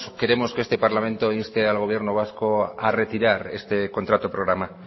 queremos que este parlamento inste al gobierno vasco a retirar este contrato programa